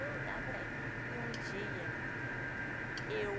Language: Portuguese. Fui andar por aí e um dia eu